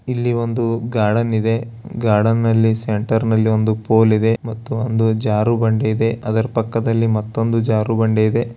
ಇಲ್ಲಿ ಒಂದು ಗಾರ್ಡನ್ ಇದೆ ಗಾರ್ಡನ್ನಲ್ಲಿ ಸೆಂಟರ್ ಅಲ್ಲಿ ಒಂದು ಫೋಲ್ ಇದೆ ಮತ್ತು ಒಂದು ಜಾರು ಬಂಡೆ ಇದೆ ಅದರ ಪಕ್ಕದಲ್ಲಿ ಮತ್ತೊಂದು ಜಾರು ಬಂಡೆ ಇದೆ.